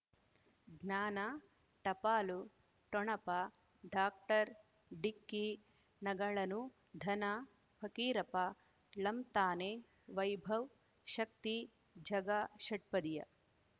ಜ್ಞಾನ ಟಪಾಲು ಠೊಣಪ ಡಾಕ್ಟರ್ ಢಿಕ್ಕಿ ಣಗಳನು ಧನ ಫಕೀರಪ್ಪ ಳಂತಾನೆ ವೈಭವ್ ಶಕ್ತಿ ಝಗಾ ಷಟ್ಪದಿಯ